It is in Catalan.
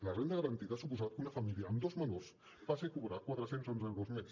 la renda garantida ha suposat que una família amb dos menors passi a cobrar quatre cents i onze euros mes